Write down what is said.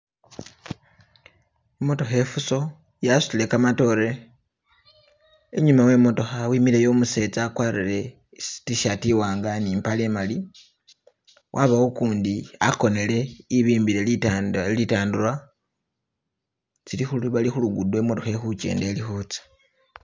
I'motokha ifuso yasutile kamatoore, inyuma we motokha wimileyo umusetsa wakwarire i'tshirt imwanga ne impale imali, wabawo ukundi wakonele e'bimbile litandarwa tsili khulu bali khulugudo I'motokha ili khukenda ili khutsa.